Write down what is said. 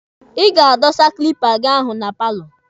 Ị ga-adọsa kilipa gị ahụ na paalọ.